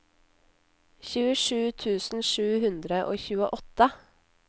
tjuesju tusen sju hundre og tjueåtte